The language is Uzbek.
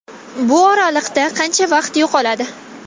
Bu oraliqda qancha vaqt yo‘qoladi.